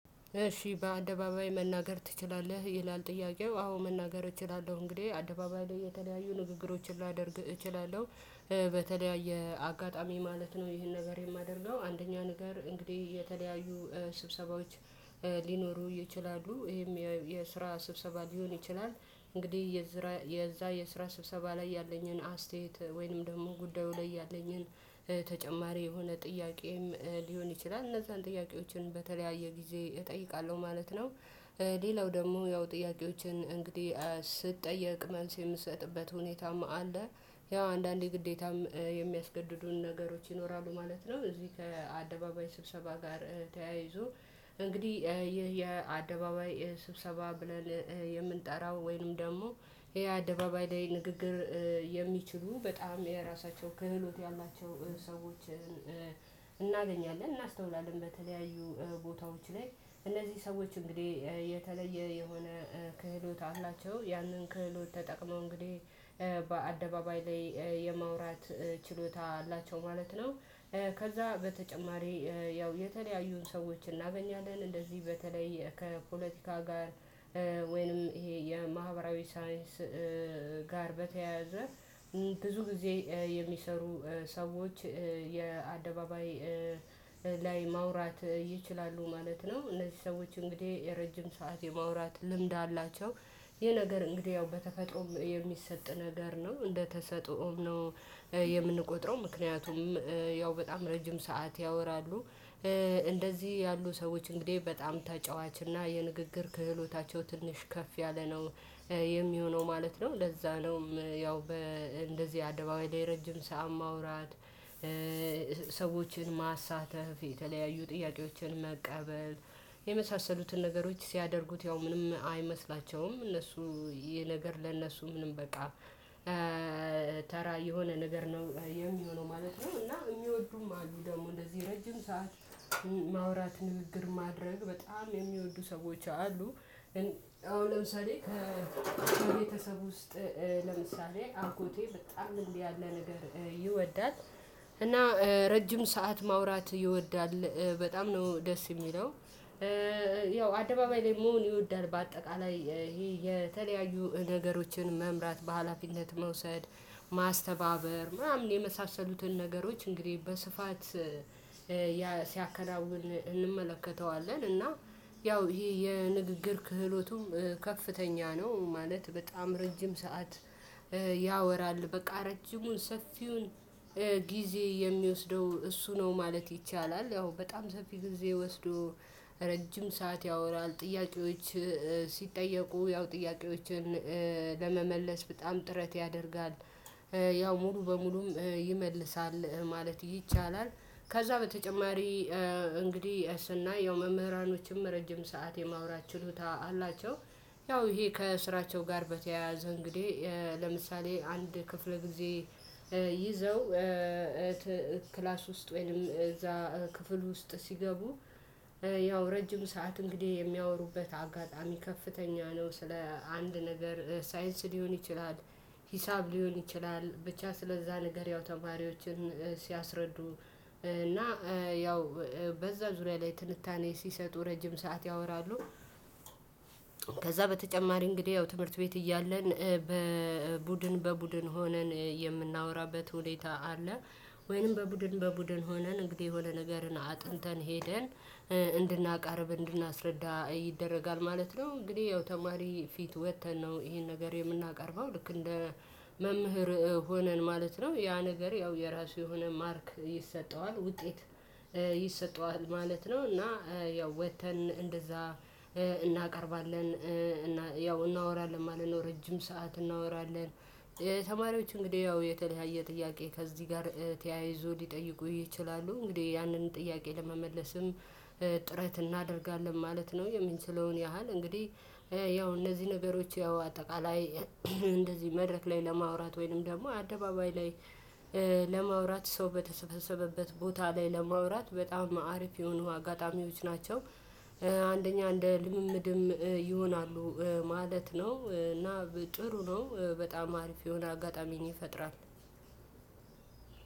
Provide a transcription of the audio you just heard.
እሺ በአደባባይ መናገር ትችላለህ? ይላል ጥያቄው አዎ መናገር እችላለሁ እንግዲህ አደባባይ ላይ የተለያዩ ንግግሮችን ላደርግ እችላለሁ። በተለያየ አጋጣሚ ማለት ነው። ይሄን ነገር የማደርገው አንደኛ ነገር እንግዲህ የተለያዩ ስብሰባዎች ሊኖሩ ይችላሉ። ይሄም የስራ ስብሰባ ሊሆን ይችላል። እንግዲህ የዛ የስራ ስብሰባ ላይ ያለኝን አስተያየት ወይንም ደግሞ ጉዳዩ ላይ ያለኝን ተጨማሪ የሆነ ጥያቄም ሊሆን ይችላል እነዛን ጥያቄዎችን በተለያየ ጊዜ እጠይቃለሁ ማለት ነው። ሌላው ደግሞ ያው ጥያቄዎችን እንግዲህ ስትጠየቅ መንስ የምትሰጥበት ሁኔታም አለ። ያው አንዳንዴ ግዴታም የሚያስገድዱን ነገሮች ይኖራሉ ማለት ነው። እዚህ ከአደባባይ ስብሰባ ጋር ተያይዞ። እንግዲህ ይህ የአደባባይ ስብሰባ ብለን የምንጠራው ወይንም ደግሞ ይሄ አደባባይ ላይ ንግግር የሚችሉ በጣም የራሳቸው ክህሎት ያላቸው ሰዎችን እናገኛለን እናስተውላለን። በተለያዩ ቦታዎች ላይ እነዚህ ሰዎች እንግዲህ የተለየ የሆነ ክህሎት አላቸው። ያንን ክህሎት ተጠቅመው እንግዲህ በአደባባይ ላይ የማውራት ችሎታ አላቸው ማለት ነው። ከዛ በተጨማሪ ያው የተለያዩን ሰዎችን እናገኛለን እንደዚህ በተለይ ከፖለቲካ ጋር ወይንም ይሄ የማህበራዊ ሳይንስ ጋር በተያያዘ ብዙ ጊዜ የሚሰሩ ሰዎች የአደባባይ ላይ ማውራት ይችላሉ ማለት ነው። እነዚህ ሰዎች እንግዲህ የረጅም ሰዓት የማውራት ልምድ አላቸው። ይሄ ነገር እንግዲህ ያው በተፈጥሮ የሚሰጥ ነገር ነው እንደተሰጠውም ነው። የምንቆጥረው ምክንያቱም ያው በጣም ረጅም ሰዓት ያወራሉ። እንደዚህ ያሉ ሰዎች እንግዲህ በጣም ተጫዋች እና የንግግር ክህሎታቸው ትንሽ ከፍ ያለ ነው። የሚሆነው ማለት ነው ለዛ ነውም ያው በእንደዚህ አደባባይ ላይ ረጅም ስዓት ማውራት። ሰዎችን ማሳተፍ የተለያዩ ጥያቄዎችን መቀበል የመሳሰሉትን ነገሮች ሲያደርጉት ያው ምንም አይመስላቸውም እነሱ። ይሄ ነገር ለነሱ ምንም በቃ ተራ የሆነ ነገር ነው የሚሆነው ማለት ነው። እና የሚወዱም አሉ ደግሞ ለዚህ ረጅም ሰዓት ማውራት ንግግር ማድረግ በጣም የሚወዱ ሰዎች አሉ። አሁን ለምሳሌ ከቤተሰብ ውስጥ ለምሳሌ ኣጎቴ በጣም እንዲህ ያለ ነገር ይወዳል። እና ረጅም ሰዓት ማውራት ይወዳል በጣም ነው ደስ የሚለው። ያው አደባባይ ላይ መሆን ይወዳል በአጠቃላይ ይሄ የተለያዩ ነገሮችን መምራት በሃላፊነት መውሰድ ማስተባበር ምናምን የመሳሰሉትን ነገሮች እንግዲህ በስፋት ሲያከናውን እንመለከተዋለን። እና ያው ይሄ የንግግር ክህሎቱም ከፍተኛ ነው። ማለት በጣም ረጅም ሰዓት ያወራል በቃ ረጅሙን ሰፊውን ጊዜ የሚወስደው እሱ ነው ማለት ይቻላል። ያው በጣም ሰፊ ጊዜ ወስዶ ረጅም ሰዓት ያወራል ጥያቄዎች ሲጠየቁ ያው ጥያቄዎችን ለመመለስ በጣም ጥረት ያደርጋል። ያው ሙሉ በሙሉም ይመልሳል ማለት ይቻላል ከዛ በተጨማሪ እንግዲህ ስናየው መምህራኖችም ረጅም ሰዓት የማውራት ችሎታ አላቸው። ያው ይሄ ከስራቸው ጋር በተያያዘ እንግዲህ ለምሳሌ አንድ ክፍለ ጊዜ ይዘው ክላስ ውስጥ ወይንም እዛ ክፍል ውስጥ ሲገቡ ያው ረጅም ሰዓት እንግዲህ የሚያወሩበት አጋጣሚ ከፍተኛ ነው። ስለ አንድ ነገር ሳይንስ ሊሆን ይችላል። ሂሳብ ሊሆን ይችላል ብቻ ስለዛ ነገር ያው ተማሪዎችን ሲያስረዱ እና ያው በዛ ዙሪያ ላይ ትንታኔ ሲሰጡ ረጅም ሰዓት ያወራሉ። ከዛ በተጨማሪ እንግዲህ ያው ትምህርት ቤት እያለን በቡድን በቡድን ሆነን የምናወራበት ሁኔታ አለ። ወይንም በቡድን በቡድን ሆነን እንግዲህ የሆነ ነገርን አጥንተን ሄደን እንድናቃርብ እንድናስረዳ ይደረጋል ማለት ነው። እንግዲህ ያው ተማሪ ፊት ወጥተን ነው ይሄን ነገር የምናቀርበው ልክ እንደ መምህር ሆነን ማለት ነው። ያ ነገር ያው የራሱ የሆነ ማርክ ይሰጠዋል ውጤት ይሰጠዋል ማለት ነው። እና ያው ወጥተን እንደዛ እናቀርባለን። ያው እናወራለን ማለት ነው ረጅም ሰዓት እናወራለን። ተማሪዎች እንግዲህ ያው የተለያየ ጥያቄ ከዚህ ጋር ተያይዞ ሊጠይቁ ይችላሉ እንግዲህ ያንን ጥያቄ ለመመለስም ጥረት እናደርጋለን ማለት ነው። የምንችለውን ያህል እንግዲህ ያው እነዚህ ነገሮች ያው አጠቃላይ እንደዚህ መድረክ ላይ ለማውራት ወይንም ደግሞ አደባባይ ላይ ለማውራት ሰው በተሰበሰበበት ቦታ ላይ ለማውራት በጣም አሪፍ የሆኑ አጋጣሚዎች ናቸው። አንደኛ እንደ ልምምድም ይሆናሉ ማለት ነው። እና ጥሩ ነው። በጣም አሪፍ የሆነ አጋጣሚ ይፈጥራል።